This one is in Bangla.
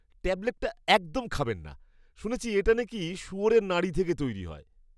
ট্যাবলেটটা একদম খাবেন না। শুনেছি এটা নাকি শুয়োরের নাড়ি থেকে তৈরি হয়।